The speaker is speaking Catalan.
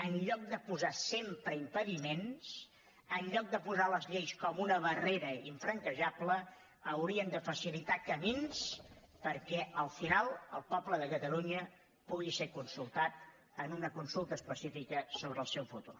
en lloc de posar sempre impediments en lloc de posar les lleis com una barrera infranquejable és que haurien de facilitar camins perquè al final el poble de catalunya pugui ser consultat en una consulta específica sobre el seu futur